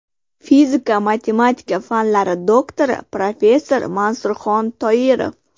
Fizika-matematika fanlari doktori, professor Mansurxon Toirov.